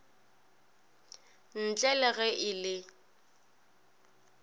ntle le ge e le